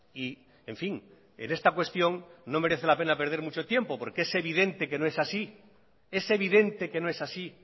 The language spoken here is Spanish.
y en fin en esta cuestión no merece la pena perder mucho tiempo porque es evidente que no es así es evidente que no es así